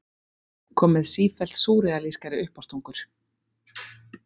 Kom með sífellt súrrealískari uppástungur.